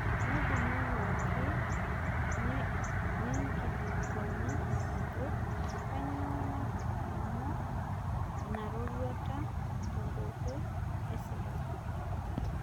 Nedimayu ake nenkilikuana ajo kanyoo naturumuo ina roruata tenkoitoi esipata